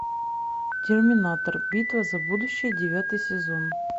терминатор битва за будущее девятый сезон